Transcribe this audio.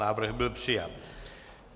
Návrh byl přijat.